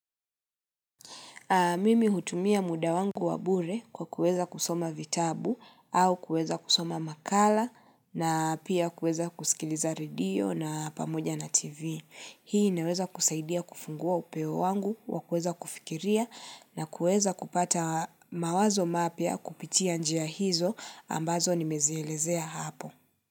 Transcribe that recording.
Mimi hutumia muda wangu wabure kwa kueza kusoma vitabu au kueza kusoma makala na pia kueza kusikiliza radio na pamoja na tv. Hii naweza kusaidia kufungua upeo wangu wa kueza kufikiria na kueza kupata mawazo mapya kupitia njia hizo ambazo ni mezielezea hapo.